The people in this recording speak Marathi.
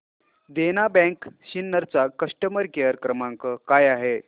देना बँक सिन्नर चा कस्टमर केअर क्रमांक काय आहे